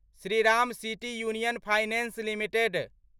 Shriram city union finance limited